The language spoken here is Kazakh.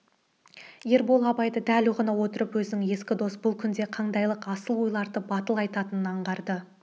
ербол абайды дәл ұғына отырып өзінің ескі досы бұл күнде қандайлық асыл ойларды батыл айтатынын аңғарды